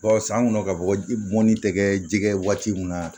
san kɔnɔ ka bɔ bɔnni tɛ kɛ jɛgɛ ye waati min na